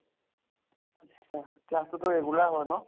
আত্চ্ছা class টোতো regular হয় ন?